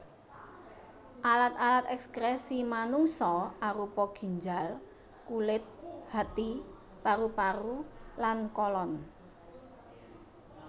Alat alat ekskresi manungsa arupa ginjal kulit hati paru paru lan colon